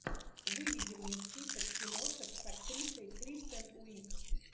выведи мне список киношек с актрисой кристен уиг